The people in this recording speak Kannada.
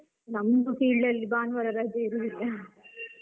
ನಮ್ದು field ಅಲ್ಲಿ ಭಾನುವಾರ ರಜೆ ಇರುದಿಲ್ಲ